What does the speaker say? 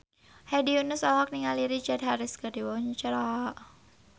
Hedi Yunus olohok ningali Richard Harris keur diwawancara